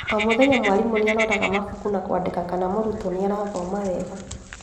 O mũthenya mwarimũ niaroraga mabuku na kwandĩka kana mũrutwo noarathoma wega